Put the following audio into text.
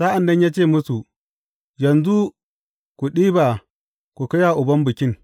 Sa’an nan ya ce musu, Yanzu ku ɗiba ku kai wa uban bikin.